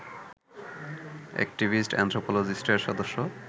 activist এনথ্রপলজিস্টের সদস্য